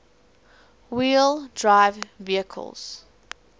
wheel drive vehicles